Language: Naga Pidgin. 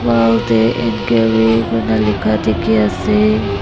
wall dae enquiry kurina lika diki asae.